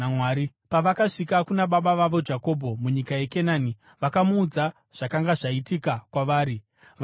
Pavakasvika kuna baba vavo Jakobho munyika yeKenani, vakamuudza zvakanga zvaitika kwavari. Vakati,